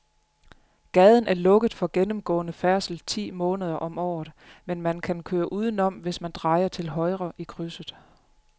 Gaden er lukket for gennemgående færdsel ti måneder om året, men man kan køre udenom, hvis man drejer til højre i krydset.